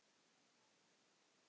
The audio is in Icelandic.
Þetta bætir mig.